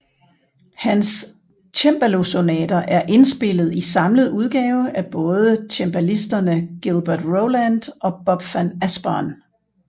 Hans cembalosonater er indspillet i samlet udgave af både cembalisterne Gilbert Rowland og Bob van Asperen